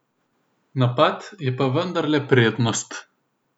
Napad je pa vendarle prednost.